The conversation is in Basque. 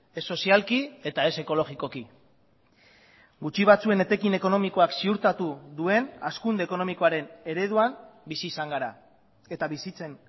ez sozialki eta ez ekologikoki gutxi batzuen etekin ekonomikoak ziurtatu duen hazkunde ekonomikoaren ereduan bizi izan gara eta bizitzen